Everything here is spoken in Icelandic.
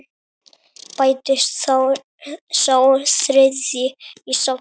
Bætist sá þriðji í safnið?